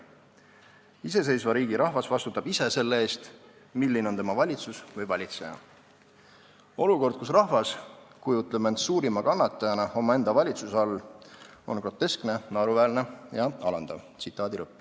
Iseseisva riigi rahvas vastutab ise selle eest, milline on tema valitsus või valitseja Olukord, kus rahvas kujutleb end suurima kannatajana omaenda valitsuse all, on groteskne, naeruväärne ja alandav.